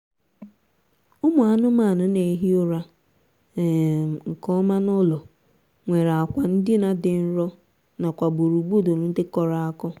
ụmụ anụmanụ na-ehi ụra um nkeọma n'ụlọ nwere akwa ndina dị nro nakwa gburugburu dị kọrọ kọrọ